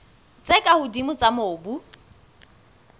tse ka hodimo tsa mobu